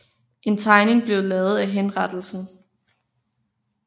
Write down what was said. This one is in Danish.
En tegning blev lavet af henrettelsen